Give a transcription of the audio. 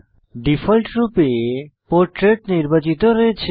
ডিফল্টরূপে পোর্ট্রেট নির্বাচিত রয়েছে